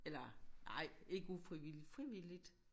Eller nej ikke ufrivilligt frivilligt